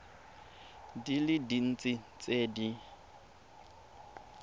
di le dintsi tse di